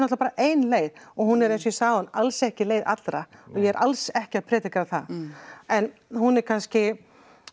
bara ein leið og hún er eins og ég sagði áðan alls ekki leið allra og ég er alls ekki að predika það en hún er kannski